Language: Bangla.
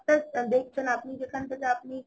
দেখছেন যেখান থেকে আপনি